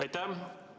Aitäh!